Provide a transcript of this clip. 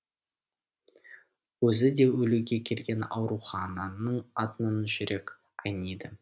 өзі де өлуге келген аурухананың атынан жүрек айниды